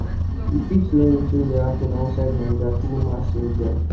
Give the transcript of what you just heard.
you fit know wetin dey happen outside naija through mass media